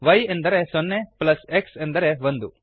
y ಎಂದರೆ ಸೊನ್ನೆ plus x ಎಂದರೆ ಒಂದು